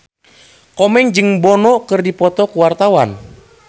Komeng jeung Bono keur dipoto ku wartawan